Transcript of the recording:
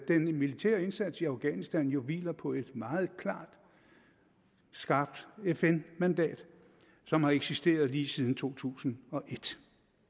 den militære indsats i afghanistan jo hviler på et meget klart og skarpt fn mandat som har eksisteret lige siden to tusind og et